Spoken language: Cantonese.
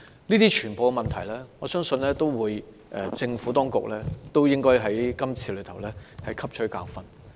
對於所有這些問題，我相信政府當局應該在今次事件中汲取教訓。